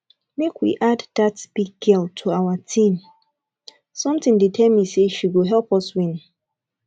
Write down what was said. make we add dat big girl to our team something dey tell me say she go help us win